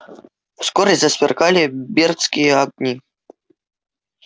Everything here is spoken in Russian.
вскоре засверкали бердские огни